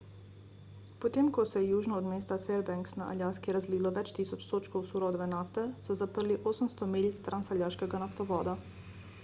potem ko se je južno od mesta fairbanks na aljaski razlilo več tisoč sodčkov surove nafte so zaprli 800 milj transaljaškega naftovoda